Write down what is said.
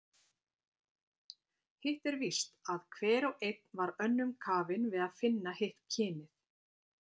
Hitt er víst, að hver og einn var önnum kafinn við að finna hitt kynið.